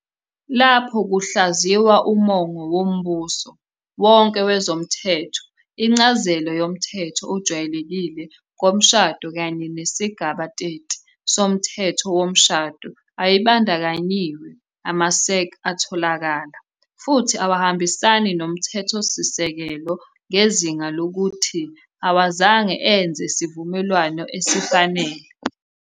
Lapho kuhlaziywa umongo wombuso wonke wezomthetho, incazelo yomthetho ojwayelekile ngomshado kanye nesigaba 30, 1, soMthetho Womshado ayibandakanyiwe, amaSach atholakala, futhi awahambisani noMthethosisekelo ngezinga lokuthi awazange enze sivumelwano esifanele